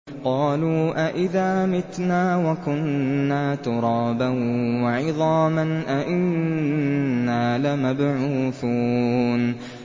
قَالُوا أَإِذَا مِتْنَا وَكُنَّا تُرَابًا وَعِظَامًا أَإِنَّا لَمَبْعُوثُونَ